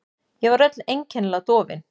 Ég var öll einkennilega dofin.